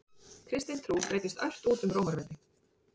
Kristin trú breiddist ört út um Rómaveldi.